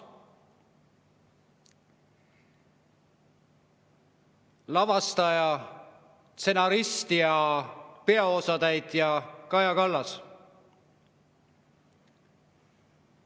Lavastaja, stsenarist ja peaosatäitja on Kaja Kallas.